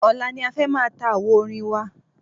Ọ̀la ni a fẹ́ máa ta àwo orin wa.